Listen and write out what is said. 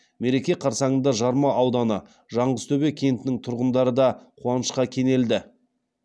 мереке қарсаңында жарма ауданы жаңғызтөбе кентінің тұрғындары да қуанышқа кенелді